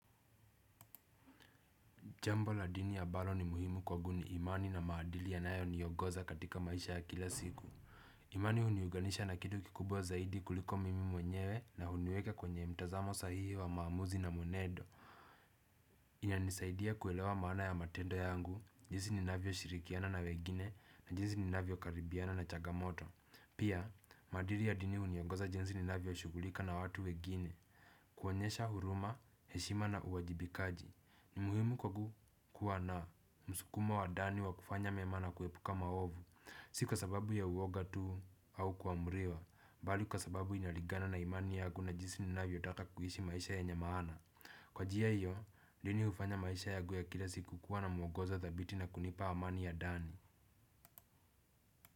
Jambo la dini abalo ni muhimu kwagu ni imani na maadili yanayoniongoza katika maisha ya kila siku. Imani uniuganisha na kitu kikubwa zaidi kuliko mimi mwenyewe na huniweka kwenye mtazamo sahihi wa maamuzi na mwenedo. Inanisaidia kuelewa maana ya matendo yangu, jinsi ninavyo shirikiana na wegine na jinsi ninavyo karibiana na chagamoto. Pia, maadili ya dini uniongoza jinsi ninavyo shugulika na watu wegini, kuonyesha huruma, heshima na uwajibikaji. Ni muhimu kwagu kuwa na. Msukumo wa dani wa kufanya mema na kuepuka maovu, si kwa sababu ya uwoga tuu au kuamriwa, mbali kwa sababu inaligana na imani yagu na jinsi ninavyotaka kuishi maisha yenye maana. Kwa jia hiyo, mimi ufanya maisha yagu ya kila siku kuwa na mwogozo dhabiti na kunipa amani ya dani.